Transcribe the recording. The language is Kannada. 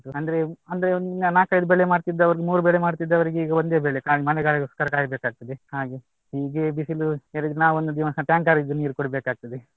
ಅಂದ್ರೆ ಅಂದ್ರೆ ನಾಕೈದು ಬೆಳೆ ಮಾಡ್ತಿದ್ದವ್ರು ಮೂರೂ ಬೆಳೆ ಮಾಡ್ತಿದ್ದವ್ರಿಗೆ ಈಗ ಒಂದೇ ಬೆಳೆ ಖಾಲಿ ಮಳೆಗಾಲಗೋಸ್ಕರ ಕಾಯ್ಬೇಕಾಗ್ತದೆ ಹಾಗೆ. ಹೀಗೆ ಬಿಸಿಲು ಏರಿದ್ರೆ ನಾವು ಒಂದು ದಿವಸ tanker ದು ನೀರು ಕುಡಿಬೇಕಾಗ್ತದೆ.